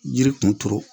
Yiri kun turu